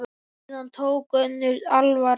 Síðan tók önnur alvara við.